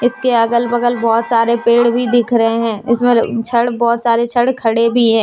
इसके अगल बगल बहोत सारे पेड़ भी दिख रहे है इस पर छड़ बहोत सारे छड़ खड़े भी हैं।